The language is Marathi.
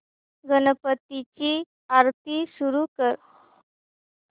गणपती ची आरती सुरू कर